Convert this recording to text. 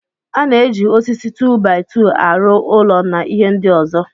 A na-eji osisi 2-by-2 aro ụlọ na ihe ndị ọzọ.